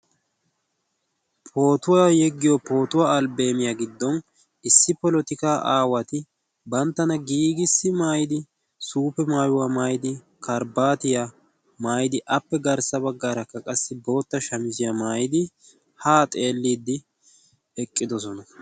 Pootuwa yeggiyo pootuwa albbeemiya giddon issi polotikaa aawati banttana giigissi maayidi suufe maayuwa maayidi karibbaatiya maayidi appe garssa baggaara qassi bootta shamiziya maayidi haa xeelliiddi eqqidosona.